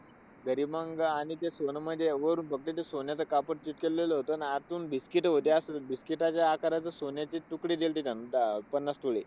तरी मंग आणि त्या सोन्यामध्ये एवढं duplicate सोन्याचं कापड चिकटवलेलं होतं ना आतून biscuit होती, biscuit च्या आकाराचे सोन्याची तुकडे केले होती अं पन्नास तोळे.